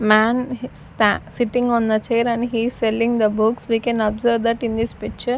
man sitting on the chair and he is selling the books we can observe that in this picture--